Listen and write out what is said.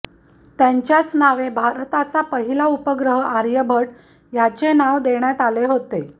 त्यांच्याच नवे भारताचा पहिला उपग्रह आर्यभट ह्याचे नावं देण्यात आले होते